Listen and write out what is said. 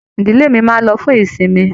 Ìdílé mí máa n lọ fún ìsinmi